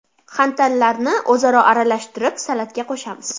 xantallarni o‘zaro aralashtirib salatga qo‘shamiz.